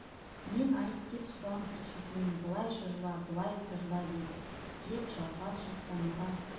мен айт деп сұранып тұр шетінен былай жырла былай зарла деді деп жалған шаттануға